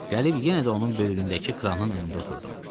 Gəlib yenə də onun böyründəki kranın önündə oturdum.